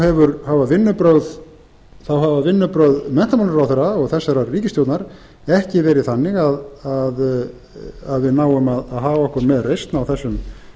en því miður hafa vinnubrögð menntamálaráðherra og þessarar ríkisstjórnar ekki verið þannig að við náum að haga okkur með reisn á þessum